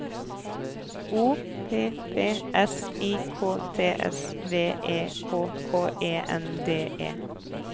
O P P S I K T S V E K K E N D E